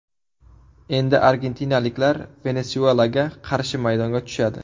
Endi argentinaliklar Venesuelaga qarshi maydonga tushadi.